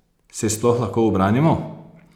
Se jih sploh lahko ubranimo?